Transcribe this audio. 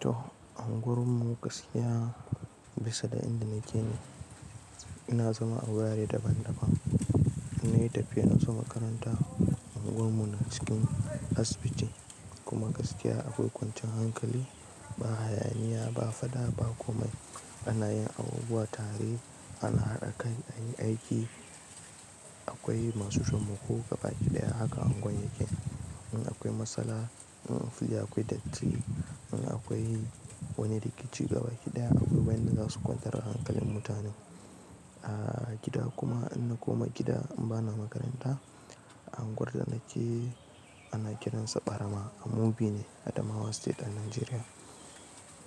To anguwarmu gaskiya bisa da inda nake ne, ina zama angwar daban-daban. Na yi tafiya in zo makaranta, unguwarmu na cikin asibiti kuma gaskiya akwai kwancin hankali, ba hayaniya, ba fada, ba komai. Anayin abubuwa, tare, ana haɗa kai a yi aiki, akwai masu tamako gabaki ɗaya haka unguwar yake. In akwai matsala, in fili akwai datti, in akwai wani rikici gabaki ɗaya abubuwan da za su kwantar da hankalin mutane. A gida kuma in na koma gida in ba na makaranta, unguwar da nake ana kiransa Ɓarama a Mubi ne, Adamawa State a Najeriya.